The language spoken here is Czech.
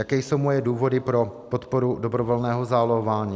Jaké jsou moje důvody pro podporu dobrovolného zálohování?